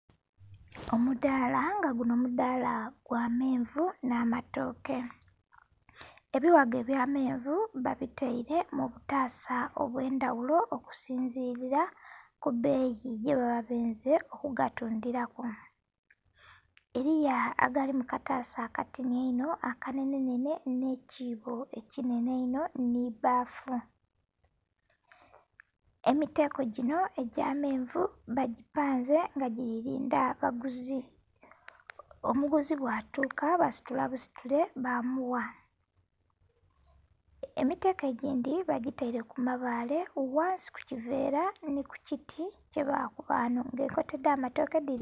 Omudaala nga gunho omudaala gwa menvu nh'amatooke. Ebighago ebya menvu babitaile mu butaasa obw'endhaghulo okusinzilila ku beeyi gye baba benze okugatundhilaku. Eliyo agali mu kataasa akatini einho, aka nenhenhene nhe kiibo ekinhenhe einho nhi bbafu. Emiteeko ginho egya menvu bagipanze nga gili lindha baguzi. Omuguzi bwa tuka basitula busitule ba mugha. Emiteeko egindhi bagitaile ku mabaale ghansi ku kiveera nhi ku kiti kye baakuba ghanho nga enkota dha matooke dhino.....